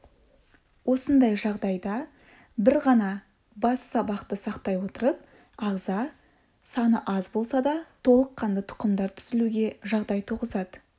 осындай жағдайда бір ғана бас сабақты сақтай отырып ағза саны аз болса да толыққанды тұқымдар түзілуге жағдай туғызады